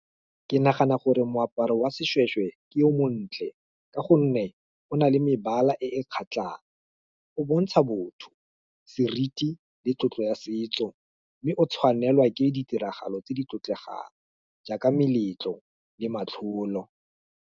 Ke nagana gore moaparo wa seshweshwe, ke o montle, ka gonne, o na le mebala e e kgatlhang, o bontsha botho, seriti, le tlotlo ya setso, mme o tshwanelwa ke ditiragalo tse di tlotlegang, jaaka meletlo le matlholo.